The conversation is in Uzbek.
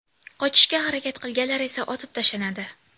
Qochishga harakat qilganlar esa otib tashlanadi.